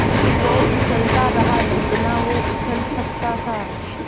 वो उछलता रहा जितना वो उछल सकता था